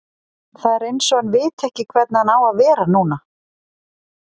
Það er eins og hann viti ekki hvernig hann á að vera núna.